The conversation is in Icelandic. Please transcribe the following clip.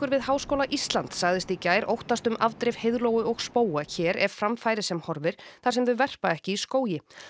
við Háskóla Íslands sagðist í gær óttast um afdrif heiðlóu og spóa hér ef fram færi sem horfir þar sem þau verpa ekki í skógi